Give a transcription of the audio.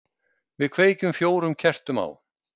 Við kveikjum fjórum kertum á.